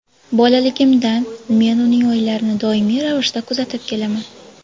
Bolaligimdan men uning o‘yinlarini doimiy ravishda kuzatib kelaman.